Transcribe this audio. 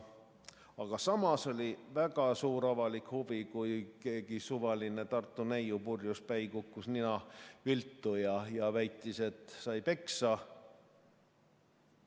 Aga samas oli väga suur avalik huvi, kui keegi suvaline Tartu neiu purjuspäi kukkus nina viltu ja väitis, et sai peksa.